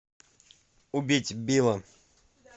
убить билла